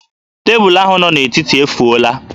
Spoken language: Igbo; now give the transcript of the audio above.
Tebụlụ ahụ nọ n'etiti efuola